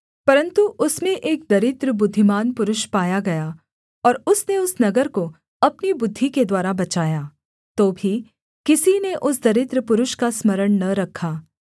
परन्तु उसमें एक दरिद्र बुद्धिमान पुरुष पाया गया और उसने उस नगर को अपनी बुद्धि के द्वारा बचाया तो भी किसी ने उस दरिद्र पुरुष का स्मरण न रखा